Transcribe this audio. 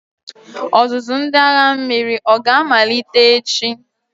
Ọzụzụ ndị agha mmiri oga-amalite echi?